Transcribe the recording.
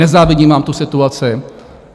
Nezávidím vám tu situaci.